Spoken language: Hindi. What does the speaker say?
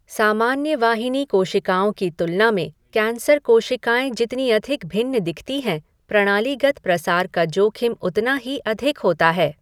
सामान्य वाहिनी कोशिकाओं की तुलना में कैंसर कोशिकाएँ जितनी अधिक भिन्न दिखती हैं, प्रणालीगत प्रसार का जोखिम उतना ही अधिक होता है।